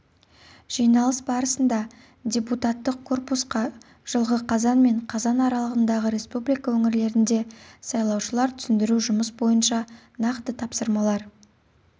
жиналыс барысында депутаттық корпусқа жылғы қазан мен қазан аралығындағы республика өңірлерінде сайлаушыларға түсіндіру жұмыс бойынша нақты тапсырмалар